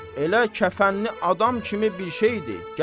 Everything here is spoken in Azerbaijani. Elə kəfənli adam kimi bir şeydir.